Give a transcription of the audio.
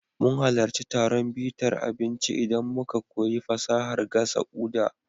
Mun halarci taron bitar abinci inda muka koyi fasahar gasa Uda.